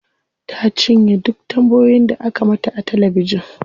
Ta cinye duk tambayoyin da aka mata a talabijin.